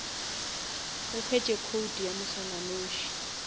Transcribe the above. o hwetše code ya moswananoši